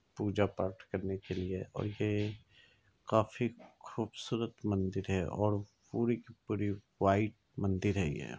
पूजा पाठ करने के लिए और ये काफी खूबसूरत मंदिर है और पूरी के पूरी व्हाइट मंदिर है ये।